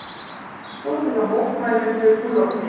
Skotið á mótmælendur úr lofti